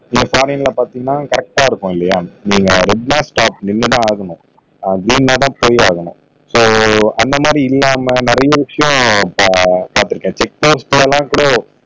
நீங்க சாலைகளை பார்த்தீங்கன்னா கரெக்டா இருக்கும் இல்லையா இங்க ரெட் ன்னா ஸ்டாப் நின்னு தான் ஆகணும் அப்படி இருந்தாதான் ஃபைன் ஆகணும் சோ அந்தமாதிரி இல்லாம நிறைய விஷயம் இப்ப பாத்திருக்கேன்